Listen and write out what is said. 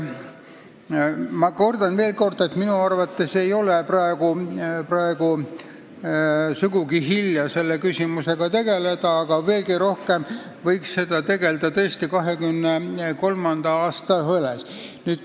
Ma kordan veel, et minu arvates ei ole praegu sugugi hilja selle küsimusega tegelda, aga veelgi rohkem võiks sellega tegelda tõesti 2023. aasta valimiste jaoks.